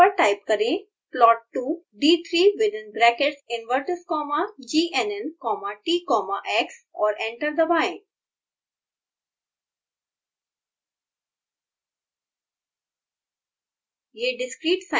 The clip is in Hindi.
कंसोल विंडो पर टाइप करें plot two d3 within bracket invertes comma gnn comma t comma x और एंटर दबाएँ